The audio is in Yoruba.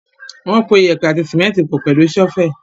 Wọ́n po yèèpẹ̀ àti símẹ́ńtì pọ̀ pẹ̀lú ṣọ́fẹ̀.